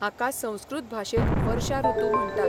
हाका संस्कृत भाशेत वर्शा ऋुतु म्हणटात.